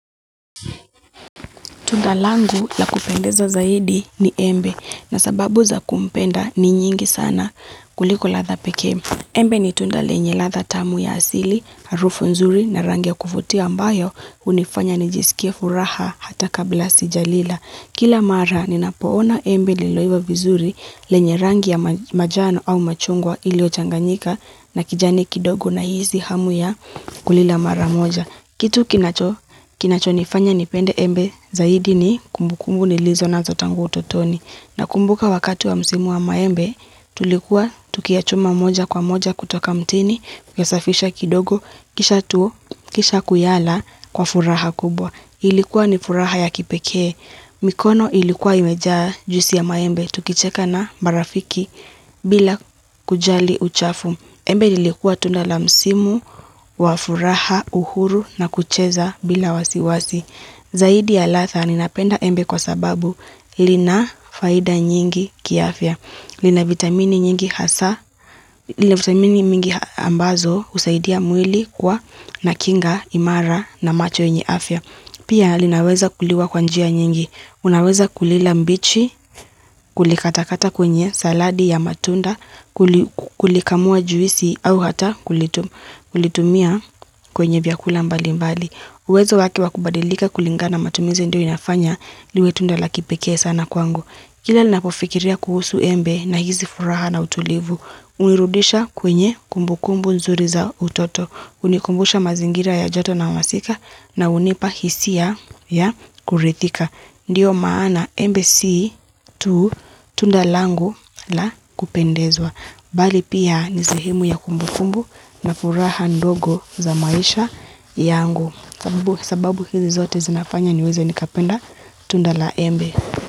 Tunda langu la kupendeza zaidi ni embe na sababu za kumpenda ni nyingi sana kuliko ladha peke. Embe ni tunda lenye ladha tamu ya asili, harufu nzuri na rangi ya kuvutia ambayo hunifanya nijisikie furaha hata kabla sijalila. Kila mara ninapoona embe liloiva vizuri lenye rangi ya majano au machungwa ilio changanyika na kijani kidogo nahisi hamu ya kulila mara moja. Kitu kinacho nifanya ni pende embe, zaidi ni kumbu kumbu nilizonazo tangu utotoni. Na kumbuka wakati wa msimu wa maembe, tulikuwa tukiyachuma moja kwa moja kutoka mtini, kuisafisha kidogo, kisha kuyala kwa furaha kubwa. Ilikuwa ni furaha ya kipekee. Mikono ilikuwa imejaa jusi ya maembe, tukicheka na marafiki bila kujali uchafu. Embe lilikuwa tunda la msimu, wa furaha, uhuru na kucheza bila wasiwasi. Zaidi ya ladha ninapenda embe kwa sababu lina faida nyingi kiafya. Lina vitamini nyingi hasa, lina vitamini mingi ambazo husaidia mwili kwa kinga, imara na macho yenye afya. Pia linaweza kuliwa kwa njia nyingi. Unaweza kulila mbichi, kulikatakata kwenye, saladi ya matunda, kulikamua juisi au hata kulitumia kwenye vyakula mbali mbali. Uwezo wake wa kubadilika kulingana matumizi ndio inafanya liwe tunda la kipekee sana kwangu. Kila nina pofikiria kuhusu embe na hisi furaha na utulivu. Unirudisha kwenye kumbu kumbu nzuri za utoto unikumbusha mazingira ya joto na masika na unipahisia ya kurithika Ndiyo maana embe si tu tunda langu la kupendezwa Bali pia nisehemu ya kumbu kumbu na furaha ndogo za maisha yangu sababu hizi zote zinafanya niweze nikapenda tunda la embe.